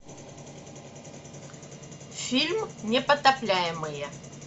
фильм непотопляемые